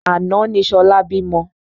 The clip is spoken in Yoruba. Àná ni ṣọlá bímọ.